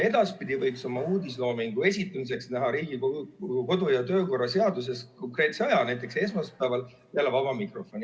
Edaspidi võiks uudisloomingu esitamiseks Riigikogu kodu- ja töökorra seaduses ette näha konkreetse aja, näiteks esmaspäeval peale vaba mikrofoni.